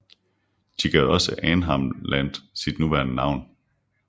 De gav også Arnhem Land sit nuværende navn